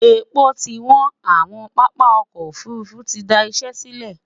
èpo ti wọn, àwon pápá ọkọ òfurufú tí dá Iṣé sílè